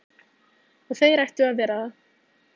Og þeir ættu að vera það.